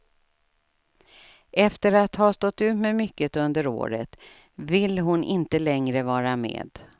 Efter att ha stått ut med mycket under året vill hon inte längre vara med.